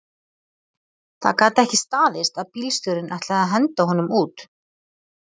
Það gat ekki staðist að bílstjórinn ætlaði að henda honum út